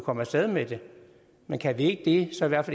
komme af sted med det men kan vi ikke det så lad os